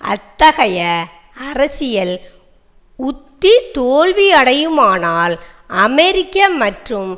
அத்தகைய அரசியல் உத்தி தோல்வியடையுமானால் அமெரிக்க மற்றும்